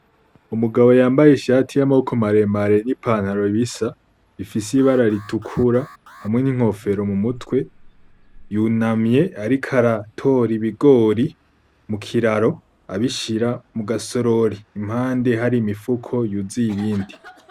Umugabo yambaye ishati yamaboko maremare ni pantaro bisa, ifise ibara itukura hamwe n'inkofero mumutwe, yunamye ariko aratora ibigori mu kiraro abishira mu gasorori mpande hari imifuko yuzuye ibindi.